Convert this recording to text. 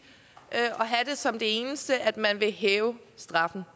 at have det som det eneste at man vil hæve straffen